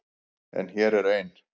En hér er ein.